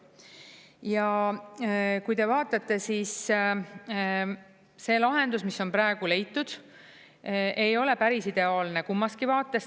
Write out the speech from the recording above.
Ja kui te vaatate, see lahendus, mis on praegu leitud, ei ole päris ideaalne kummaski vaates.